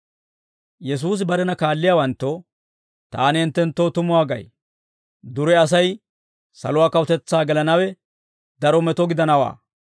Yesuusi barena kaalliyaawanttoo, «Taani hinttenttoo tumuwaa gay; dure Asay saluwaa kawutetsaa gelanawe daro meto gidanawaa.